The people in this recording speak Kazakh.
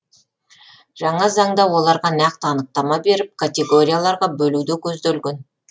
жаңа заңда оларға нақты анықтама беріп категорияларға бөлу де көзделген